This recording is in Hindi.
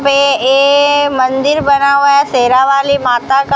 पे ए मंदिर बना हुआ है शेरावाली माता का--